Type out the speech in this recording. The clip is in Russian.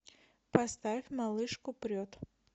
поставь малышку прет